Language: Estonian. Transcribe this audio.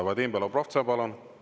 Vadim Belobrovtsev, palun!